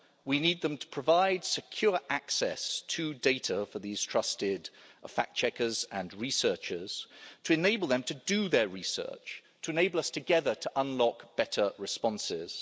We need them to provide secure access to data for these trusted fact checkers and researchers to enable them to do their research, to enable us together to unlock better responses.